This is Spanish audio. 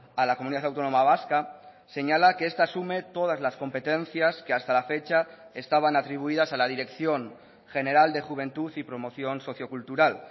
a la comunidad autónoma vasca señala que esta asume todas las competencias que hasta la fecha estaban atribuidas a la dirección general de juventud y promoción socio cultural